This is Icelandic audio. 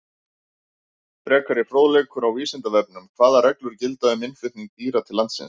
Frekari fróðleikur á Vísindavefnum: Hvaða reglur gilda um innflutning dýra til landsins?